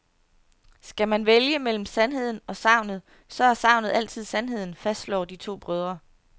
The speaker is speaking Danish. Skal man vælge mellem sandheden og sagnet, så er sagnet altid sandheden, fastslår de to brødre.